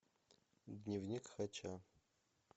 дневник хача